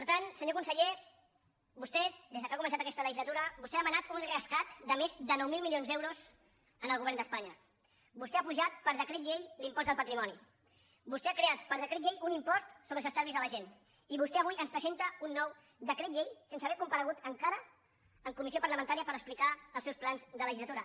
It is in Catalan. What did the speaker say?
per tant senyor conseller vostè des que ha començat aquesta legislatura vostè ha demanat un rescat de més de nou mil milions d’euros al govern d’espanya vostè ha apujat per decret llei l’impost del patrimoni vostè ha creat per decret llei un impost sobre els estalvis de la gent i vostè avui ens presenta un nou decret llei sense haver comparegut encara en comissió parlamentària per explicar els seus plans de legislatura